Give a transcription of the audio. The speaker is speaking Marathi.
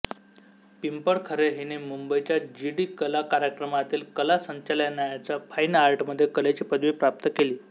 पिंपळखरे हिने मुंबईच्या जी डी कला कार्यक्रमातील कला संचालनालयाच्या फाइन आर्टमध्ये कलेची पदवी प्राप्त केली